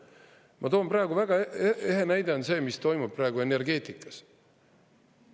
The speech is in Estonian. Ma toon väga eheda näite sellest, mis toimub praegu energeetikas.